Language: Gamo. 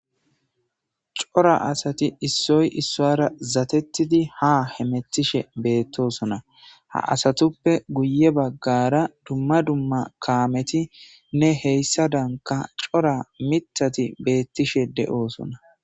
cora asati issoy issoara zatettidi ha hemetishe beettosona ha asatuppe guye baggara dumma dumma kaameti nne heyssa danka cora mitati beettishe de7oosona